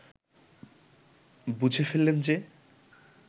বুঝে ফেললেন যে